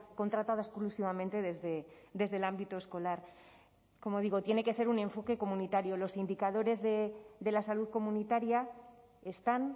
contratada exclusivamente desde el ámbito escolar como digo tiene que ser un enfoque comunitario los indicadores de la salud comunitaria están